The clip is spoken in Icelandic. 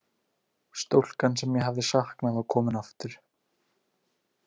Stúlkan sem ég hafði saknað var komin aftur.